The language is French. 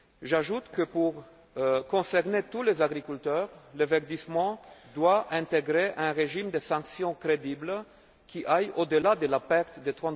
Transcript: terme. J'ajoute que, pour concerner tous les agriculteurs, le verdissement doit intégrer un régime de sanctions crédible qui aille au delà de la perte